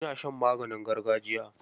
Ina shan maganin gargajiya.